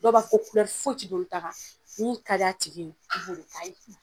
Dɔw ba fɔ ko kulɛri foyi tɛ don olu ta kan min ka d'a tigi ye i b'o de ka ye